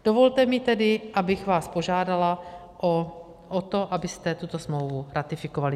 Dovolte mi tedy, abych vás požádala o to, abyste tuto smlouvu ratifikovali.